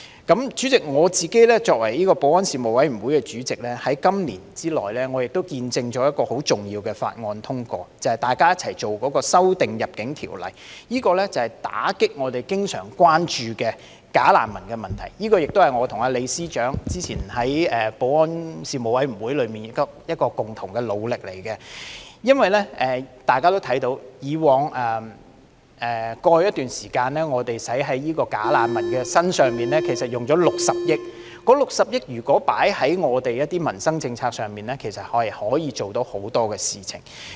代理主席，我作為立法會保安事務委員會的主席，在今年內，我亦見證了一項很重要的法案通過，便是大家共同審議的對《入境條例》的修訂，是為打擊我們經常關注的假難民問題——這亦是我和李司長早前在保安事務委員會的共同努力——因為大家也看到，在過去一段時間，我們在假難民身上共花了60億元，這60億元如果投放在民生政策上，其實可以處理很多事情。